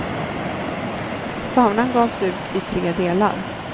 Faunan gavs ut i tre delar.